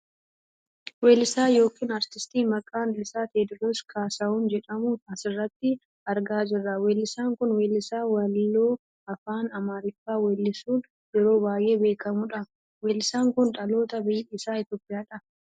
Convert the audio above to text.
weelisaa yookaan artistii maqaan isaa Teediroos kaasahuun jedhamu asirratti argaa jirra . weellisaan kun weellisaa weelluu afaaan amaariffaa weellisuun yeroo baayyee beekkamu dha. weellisaan kun dhaloota biyyi isaa Itoopiyaa dha.